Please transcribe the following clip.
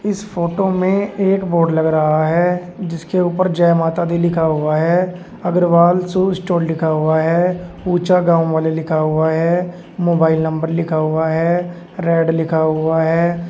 इस फोटो में एक बोर्ड लग रहा है जिसके ऊपर जय माता दी लिखा हुआ है अग्रवाल शू स्टोर लिखा हुआ है ऊंचा गांव वाले लिखा हुआ है मोबाइल नंबर लिखा हुआ है रेड लिखा हुआ है।